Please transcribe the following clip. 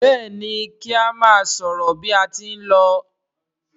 Béèni ki a má sòrò bí a tí n ló.